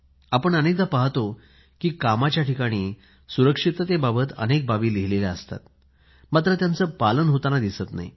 आपण पाहतो की कामाच्या ठिकाणी सुरक्षिततेबाबत अनेक बाबी लिहिलेल्या असतात मात्र त्याचं पालन होताना दिसत नाही